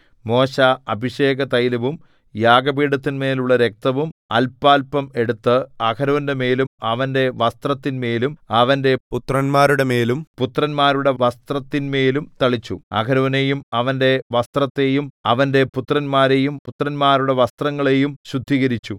മോശെ അഭിഷേകതൈലവും യാഗപീഠത്തിന്മേലുള്ള രക്തവും അല്പാല്പം എടുത്ത് അഹരോന്റെമേലും അവന്റെ വസ്ത്രത്തിന്മേലും അവന്റെ പുത്രന്മാരുടെമേലും പുത്രന്മാരുടെ വസ്ത്രത്തിന്മേലും തളിച്ചു അഹരോനെയും അവന്റെ വസ്ത്രത്തെയും അവന്റെ പുത്രന്മാരെയും പുത്രന്മാരുടെ വസ്ത്രങ്ങളെയും ശുദ്ധീകരിച്ചു